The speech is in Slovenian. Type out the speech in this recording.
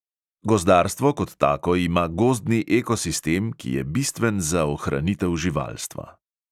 Gozdarstvo kot tako ima gozdni ekosistem, ki je bistven za ohranitev živalstva.